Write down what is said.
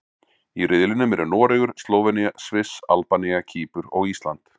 Í riðlinum eru Noregur, Slóvenía, Sviss, Albanía, Kýpur og Ísland.